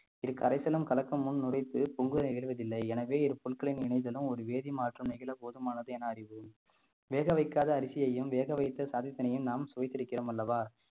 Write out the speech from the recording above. இது கரைசலும் கலக்கும் முன் நுரைத்து பொங்குதலை எழுவதில்லை எனவே இரு இணையதளம் ஒரு வேதி மாற்றம் நிகழ போதுமானது என அறிவு வேக வைக்காத அரிசியையும் வேகவைத்து சாதத்தினையும் நாம் சுவைத்திருக்கிறோம் அல்லவா